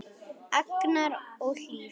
Agnar og Hlíf.